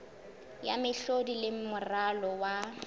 ya mehlodi le moralo wa